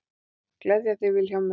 Gleðja þig Vilhjálmur.